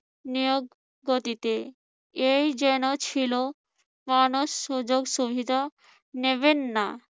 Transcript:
নিয়োগ পদ্ধতিতে, এই যেন ছিল। কখনো সুযোগ সুবিধা নেবেন না।